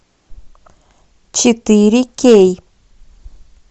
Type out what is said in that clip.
четыре кей